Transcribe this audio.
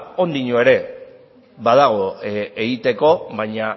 oraindik ere badago egiteko baina